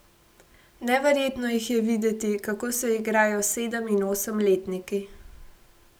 Neverjetno jih je videti, kako se igrajo s sedem in osemletniki.